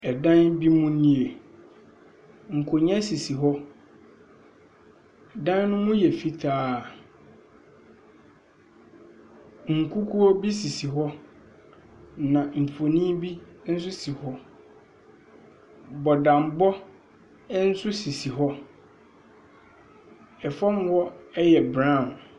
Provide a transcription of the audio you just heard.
Ɛdan bi mu nie. Nkonnwa sisi hɔ. Dan no mu yɛ fitaa. Nkukuo bi sisi hɔ, na mfonin bi nso si hɔ. Bɔdambɔ nso sisi hɔ. fam hɔ yɛ brown.